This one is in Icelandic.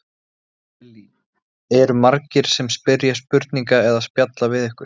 Lillý: Eru margir sem spyrja spurninga eða spjalla við ykkur?